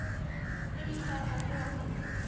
Eitthvað að lokum?